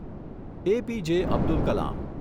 APJ. Abdul Kalam